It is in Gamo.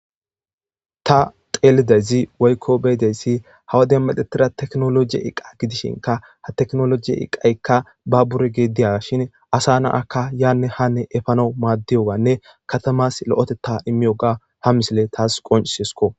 Ta xelizayti woykko be'izayti ha woden me'etida technologe iqa gidishinka ha technologe iqayika babbure gidiyashen asa na'aka yane hane efanaw madiyagane katamas lo'otetaka imiyoga ha misile tasi qoncisesiko.